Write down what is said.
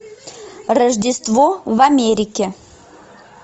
рождество в америке